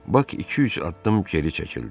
Bak iki-üç addım geri çəkildi.